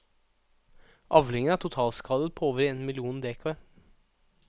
Avlingen er totalskadet på over én million dekar.